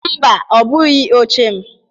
Mba, ọ bụghị oche m